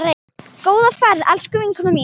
Góða ferð, elsku vinkona mín.